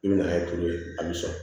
I bɛ na ni tulu ye a bɛ sɔn